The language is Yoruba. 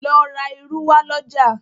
lọ rá ìrù wa l'ọja